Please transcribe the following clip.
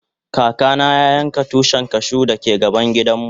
Kaka na ya yanka Tushin cashew da ke gaban gidan mu.